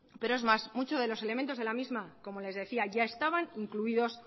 pero es más muchos de los elementos de la misma ya estaban incluidos